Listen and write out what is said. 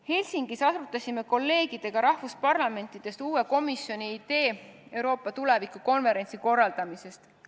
Helsingis arutasime kolleegidega teiste riikide parlamentidest uue komisjoni Euroopa tuleviku konverentsi korraldamise ideed.